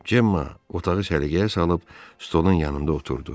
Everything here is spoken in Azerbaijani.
Cemma otağı səliqəyə salıb stolun yanında oturdu.